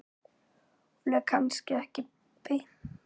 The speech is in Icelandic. Hún er kannski ekki beint.